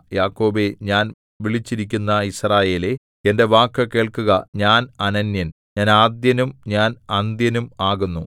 യാക്കോബേ ഞാൻ വിളിച്ചിരിക്കുന്ന യിസ്രായേലേ എന്റെ വാക്കു കേൾക്കുക ഞാൻ അനന്യൻ ഞാൻ ആദ്യനും ഞാൻ അന്ത്യനും ആകുന്നു